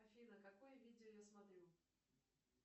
афина какое видео я смотрю